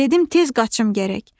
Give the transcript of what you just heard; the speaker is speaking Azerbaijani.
Dedim tez qaçım gərək.